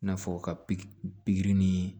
I n'a fɔ ka piki pikiri ni